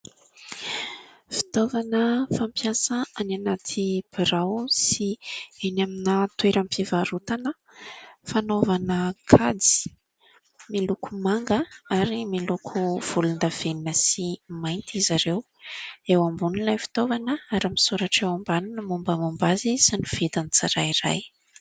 Fitaovana fampiasa any anaty birao sy eny amina toeram-pivarotana fanaovana kajy, miloko manga ary miloko volondavenona sy mainty izy ireo, eo ambony ilay fitaovana ary misoratra eo ambany ny mombamomba azy sy ny vidiny tsirairay.